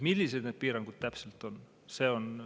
Millised need piirangud täpselt on?